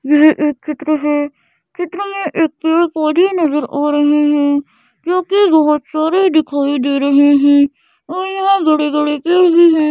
यह एक चित्र है चित्र में एक पेड़ पौधे नजर आ रहे है जो कि बहुत सारे दिखाई दे रहे हैं और यहा बड़े-बड़े पेड़ भी है।